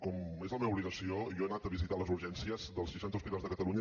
com és la meva obligació jo he anat a visitar les urgències dels seixanta hospitals de catalunya